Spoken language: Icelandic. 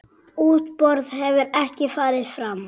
Útboð hefur ekki farið fram.